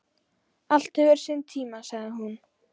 Allt hefur sinn tíma, sagði hún.